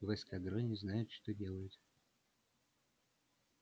в эскадроне знают что делают